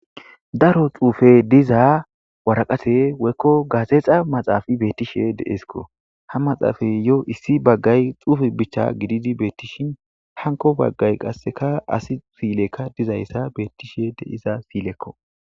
Daro xuufe diza waraqate woykko gaasexa maxaafa bettishe deesikko ha maxaafay yo issi baggay xuufe bichcha gididi beettishin hanko baggay qasseka asi siilekka dizayssa beettishe deiza siilekko